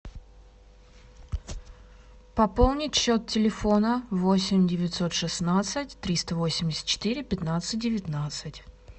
пополнить счет телефона восемь девятьсот шестнадцать триста восемьдесят четыре пятнадцать девятнадцать